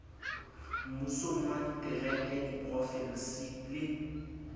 mmusong wa ditereke diprofensi le